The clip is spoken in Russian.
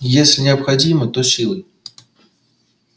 если необходимо то силой